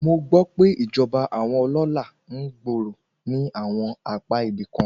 Mo gbọ́ pé ìjọba àwọn ọlọ́lá ń gbòòrò ní àwọn apá ibìkan.